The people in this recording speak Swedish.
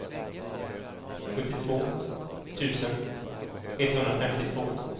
sjuttiotvå tusen etthundrafemtiotvå